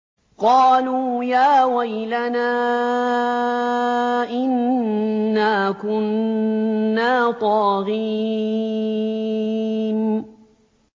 قَالُوا يَا وَيْلَنَا إِنَّا كُنَّا طَاغِينَ